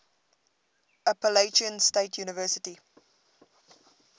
appalachian state university